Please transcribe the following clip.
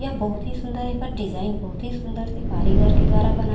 यह बहुत ही सुन्दर हे एकर डिज़ाइन बहुत ही सुंदर से कारीगर के द्वारा बनाय--